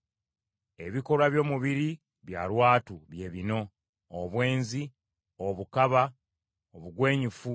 Ebikolwa by’omubiri bya lwatu, bye bino: obwenzi, obukaba, obugwenyufu,